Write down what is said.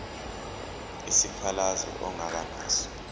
isikhalazo ongaba naso